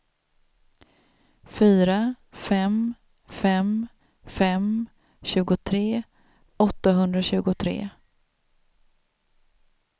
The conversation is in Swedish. fyra fem fem fem tjugotre åttahundratjugotre